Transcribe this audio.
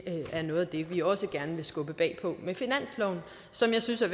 er noget af det vi også gerne skubber på med finansloven og som jeg synes er